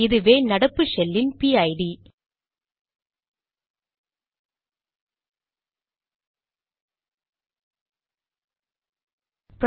இதுவே நடப்பு ஷெல்லின் பிஐடிPID